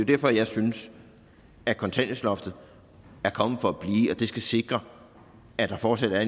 derfor jeg synes at kontanthjælpsloftet er kommet for at blive det skal sikre at der fortsat er